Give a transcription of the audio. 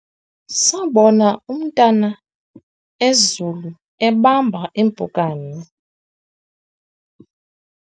sabona umntanezulu ebamba impukane